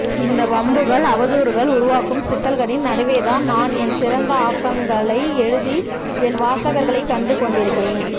இந்த வம்புகள் அவதூறுகள் உருவாக்கும் சிக்கல்களின் நடுவேதான் நான் என் சிறந்த ஆக்கங்களை எழுதி என் வாசகர்களைக் கண்டுகொண்டிருக்கிறேன்